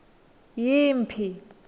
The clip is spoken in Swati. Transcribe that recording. yimphi